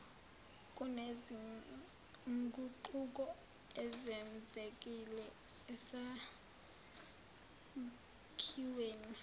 kunezinguquko ezenzekile esakhiweni